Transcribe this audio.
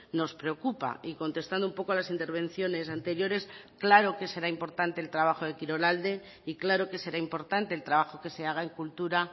nos preocupa y contestando un poco a las intervenciones anteriores claro que será importante el trabajo de kirolalde y claro que será importante el trabajo que se haga en cultura